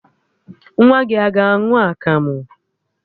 Nwa gị a ga-aṅụ akamụ?